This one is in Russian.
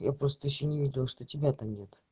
я просто ещё не видел что тебя там нет